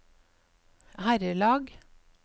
herrelag